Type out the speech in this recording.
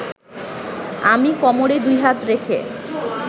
আমি কোমরে দু’হাত রেখে